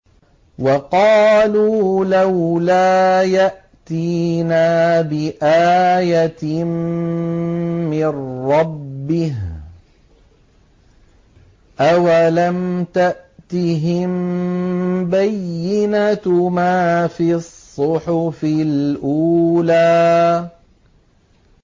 وَقَالُوا لَوْلَا يَأْتِينَا بِآيَةٍ مِّن رَّبِّهِ ۚ أَوَلَمْ تَأْتِهِم بَيِّنَةُ مَا فِي الصُّحُفِ الْأُولَىٰ